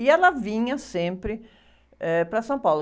E ela vinha sempre, eh, para São Paulo.